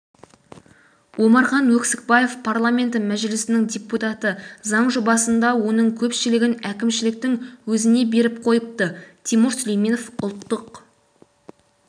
омархан өксікбаев парламенті мәжілісінің депутаты заң жобасында оның көпшілігін әкімшіліктің өзіне беріп қойыпты тимур сүлейменов ұлттық